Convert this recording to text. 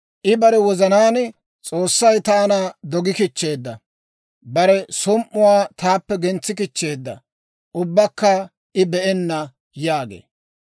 I bare wozanaan, «S'oossay taana dogi kichcheedda. Bare som"uwaa taappe gentsi kichcheedda; ubbakka I be'enna» yaagee.